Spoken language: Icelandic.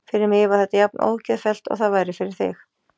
Fyrir mig var þetta jafn ógeðfellt og það væri fyrir þig.